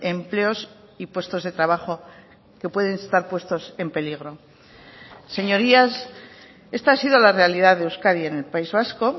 empleos y puestos de trabajo que pueden estar puestos en peligro señorías esta ha sido la realidad de euskadi en el país vasco